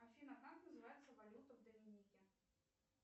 афина как называется валюта в доменике